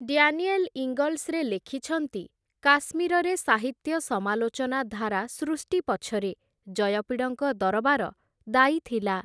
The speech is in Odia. ଡ୍ୟାନିଏଲ୍‌ ଇଙ୍ଗଲ୍ସ' ରେ ଲେଖିଛନ୍ତି, କାଶ୍ମୀରରେ ସାହିତ୍ୟ ସମାଲୋଚନା ଧାରା ସୃଷ୍ଟି ପଛରେ ଜୟପିଡ଼ଙ୍କ ଦରବାର ଦାୟୀ ଥିଲା ।